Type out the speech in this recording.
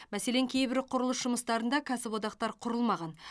мәселен кейбір құрылыс жұмыстарында кәсіподақтар құрылмаған